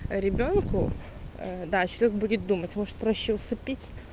ребёнку да человек будет думать может проще усыпить